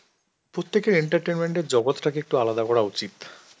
অ্যাঁ প্রত্যেকের entertainment এর জগৎটাকে একটু আলাদা করা উচিত.